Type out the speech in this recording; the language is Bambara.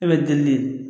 E bɛ deli